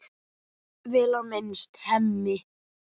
Vel á minnst: Hemmi.